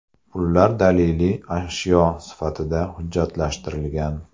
Pullar daliliy ashyo sifatida hujjatlashtirilgan.